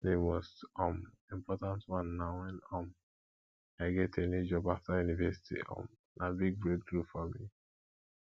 di most um important one na when um i get a new job after university um na big breakthrough for me